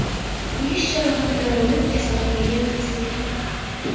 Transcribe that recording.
kuyish jarohatlari olib, kasalxonaga yotqizilgan.